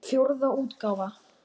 Hún brýst um.